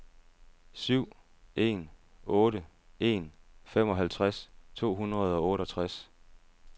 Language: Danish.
syv en otte en femoghalvtreds to hundrede og otteogtres